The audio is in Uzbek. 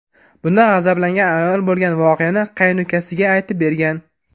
Bundan g‘azablangan ayol bo‘lgan voqeani qaynukasiga aytib bergan.